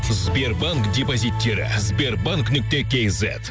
сбербанк депозиттері сбербанк нүкте кз